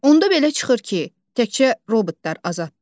Onda belə çıxır ki, təkcə robotlar azaddır?